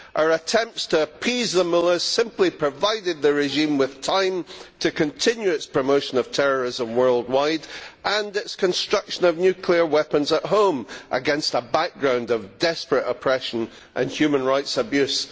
Our attempts to appease them has simply provided the regime with time to continue its promotion of terrorism worldwide and its construction of nuclear weapons at home against a background of desperate oppression and human rights abuse.